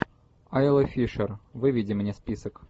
айла фишер выведи мне список